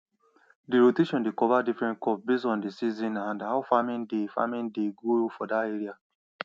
di rotation dey cover different crops base on d season and how farming dey farming dey go for dat area